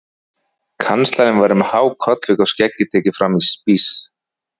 Kanslarinn var með há kollvik og skeggið tekið fram í spíss.